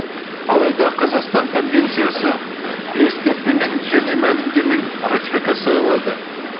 алайда қазақстан конвенциясы ескертпе мен және мәлімдемені ратификациялады